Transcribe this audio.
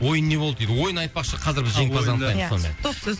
ойын не болды дейді ойын айтпақшы қазір біз жеңімпазды анықтаймыз сонымен